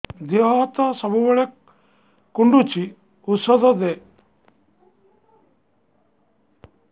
ଦିହ ହାତ ସବୁବେଳେ କୁଣ୍ଡୁଚି ଉଷ୍ଧ ଦେ